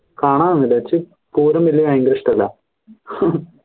കാണാ ഇഷ്ടല്ല